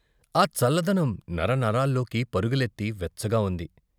ఆ చల్లదనం నరనరాల్లోకి పరుగులెత్తి వెచ్చగా ఉంది.